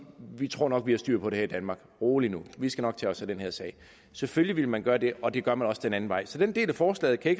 vi tror nok at vi har styr på det her i danmark rolig nu vi skal nok tage os af den her sag selvfølgelig ville man gøre det og det gør man også den anden vej rundt så den del af forslaget kan